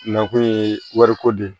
Nakun ye wariko de ye